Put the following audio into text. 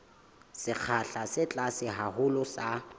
sekgahla se tlase haholo sa